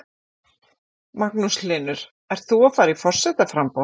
Magnús Hlynur: Ert þú að fara í forsetaframboð?